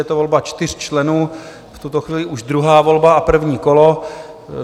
Je to volba čtyř členů, v tuto chvíli už druhá volba a první kolo.